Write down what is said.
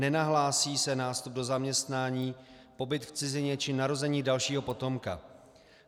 Nenahlásí se nástup do zaměstnání, pobyt v cizině či narození dalšího potomka.